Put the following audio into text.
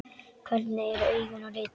Hvernig eru augun á litinn?